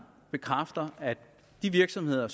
bekræfter at de virksomheder